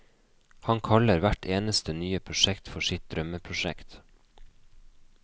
Han kaller hvert eneste nye prosjekt for sitt drømmeprosjekt.